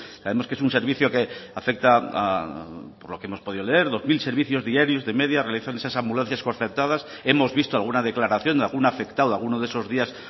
sabemos que es un servicio que afecta por lo que hemos podido leer dos mil servicios diarios de media realizan esas ambulancias concertadas hemos visto alguna declaración de algún afectado alguno de esos días